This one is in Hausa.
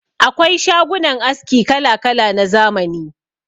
Akwai shagunan aski kala-kala na zamani.